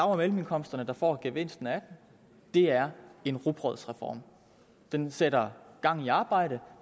og mellemindkomsterne der får gevinsten af den det er en rugbrødsreform den sætter gang i arbejde